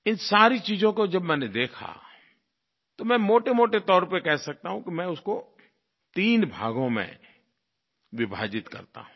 इन सारी चीज़ों को जब मैंने देखा तो मैं मोटेमोटे तौर पर कह सकता हूँ कि मैं उसको तीन भागों में विभाजित करता हूँ